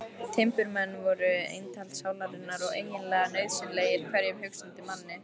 Timburmenn voru eintal sálarinnar og eiginlega nauðsynlegir hverjum hugsandi manni.